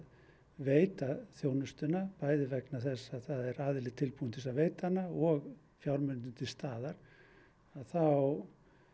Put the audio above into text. veita þjónustuna bæði vegna þess að það er aðili tilbúinn til þess að veita hana og fjármunirnir til staðar að þá